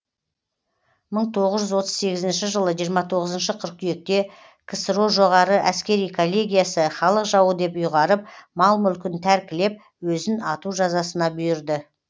мың тоғыз жүз отыз сегізінші жылы жиырма тоғызыншы қыркүйекте ксро жоғары әскери коллегиясы халық жауы деп ұйғарып мал мүлкін тәркілеп өзін ату жазасына бұйырды